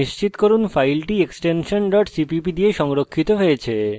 নিশ্চিত করুন file extension cpp দিয়ে সংরক্ষিত হয়েছে